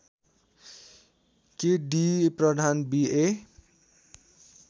के D Pradhan B ए